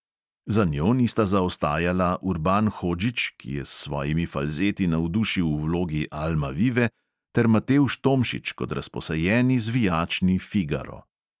Za njo nista zaostajala urban hodžić, ki je s svojimi falzeti navdušil v vlogi almavive, ter matevž tomšič kot razposajeni zvijačni figaro.